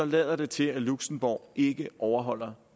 lader det til at luxembourg ikke overholder